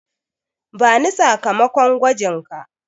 Bani sakamakon gwajinka.